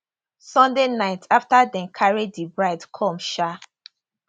sunday night afta dem carry di bride come um